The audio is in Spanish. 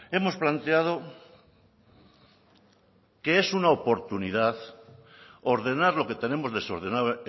hemos planteado que es una oportunidad ordenar lo que tenemos desordenado